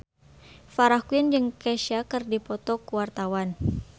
Farah Quinn jeung Kesha keur dipoto ku wartawan